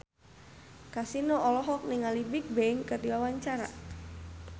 Kasino olohok ningali Bigbang keur diwawancara